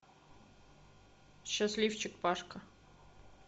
счастливчик пашка